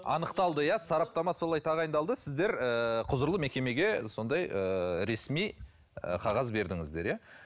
анықталды иә сараптама солай тағайындалды сіздер ы құзырлы мекемеге сондай ыыы ресми ы қағаз бердіңіздер иә